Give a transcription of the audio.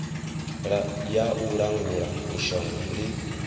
ya u langula mishonga ndi